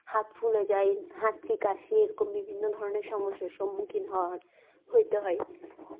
হাত ফুলে যায় হাচি কাশি এরকম বিভিন্ন ধরনের সমস্যার সম্মুখীন হয় হতে হয়।